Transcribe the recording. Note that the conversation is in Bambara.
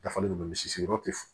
Dafalen don misi yɔrɔ tɛ